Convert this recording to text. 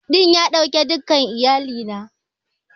Ɗakin iyali na otal ɗin ya ɗauke dukkan iyalina.